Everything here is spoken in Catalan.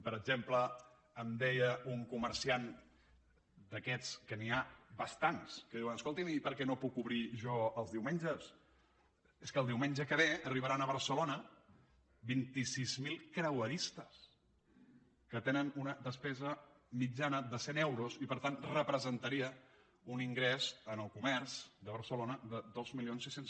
per exemple em deia un comerciant d’aquests que n’hi ha bastants que diuen escolti’m i per què no puc obrir jo els diumenges és que el diumenge que ve arribaran a barcelona vint sis mil creueristes que tenen una despesa mitjana de cent euros i per tant representaria un ingrés al comerç de barcelona de dos mil sis cents